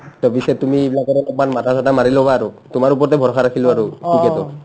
to পিছে তুমি এইবিলাকত একবাৰ মাথা-চাথা মাৰি ল'বা আৰু তোমাৰ ওপৰতে ভৰষা ৰাখিলো আৰু ticket ৰ